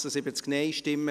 / Schär, Schönried [